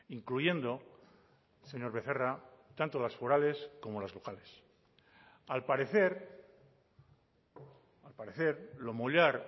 incluyendo señor becerra tanto las forales como las locales al parecer al parecer lo mollar